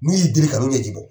Ni u y'i deli i ka n wele